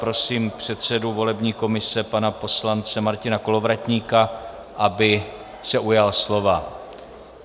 Prosím předsedu volební komise pana poslance Martina Kolovratníka, aby se ujal slova.